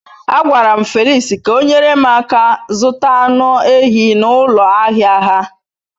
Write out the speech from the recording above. A gwaram Felix ka onyere m aka zuta anu ehi n'ulo ahia ha